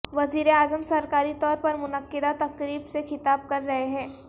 وزیراعظم سرکاری طور پر منعقدہ تقریب سے خطاب کررہے ہیں